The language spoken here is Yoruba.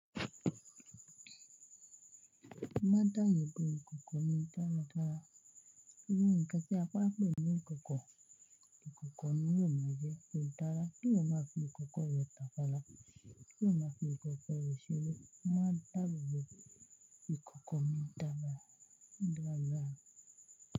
Má dà ìbò ìkòkò mọ́ ìtara tara. Kí ní ǹkan tí a bá pè ní ìkòkò? Ìkòkò ni yóò báa jẹ́ ìtara, kí ó má fi ìkòkò rẹ tàfara, kí ó má fi ìkòkò rẹ ṣeré. Má dàbòbò ìkòkò mọ́ ìtara. Ìdábààrá.